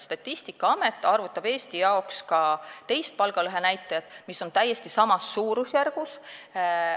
Statistikaamet arvutab Eesti jaoks ka teist palgalõhenäitajat, mis on täiesti samas suurusjärgus.